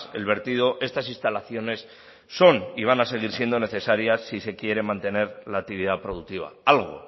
el vertido estas instalaciones son y van a seguir siendo necesarias si se quiere mantener la actividad productiva algo